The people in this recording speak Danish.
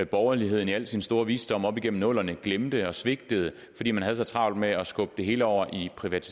borgerligheden i al sin store visdom op igennem nullerne glemte og svigtede fordi man havde så travlt med at skubbe det hele over i det private